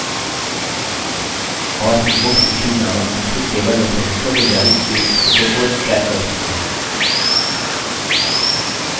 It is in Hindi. और हम booksissued नामक तीसरे table में सदस्यों को जारी की गयी पुस्तकों को track पता लगाना कर सकते हैं